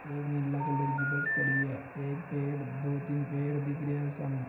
एक नीला कलर की बस खड़ी है एक दो पेड़ तीन पेड़ दिख रहा सामे है।